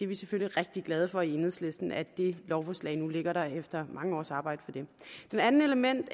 vi selvfølgelig rigtig glade for i enhedslisten at det lovforslag nu ligger der efter mange års arbejde på det det andet element